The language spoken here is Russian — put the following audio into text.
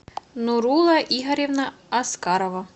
нурула игоревна аскарова